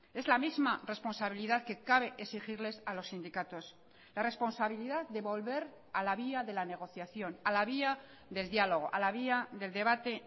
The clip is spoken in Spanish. es la misma responsabilidad que cabe exigirles a los sindicatos la responsabilidad de volver a la vía de la negociación a la vía del diálogo a la vía del debate